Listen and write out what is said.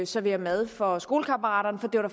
servere mad for skolekammeraterne for det var